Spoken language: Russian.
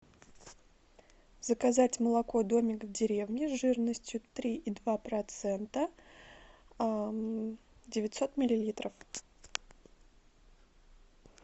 заказать молоко домик в деревне жирностью три и два процента девятьсот миллилитров